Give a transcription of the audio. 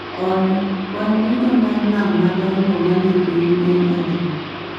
Olly kwan duto ma nam madongo e pinyni en adi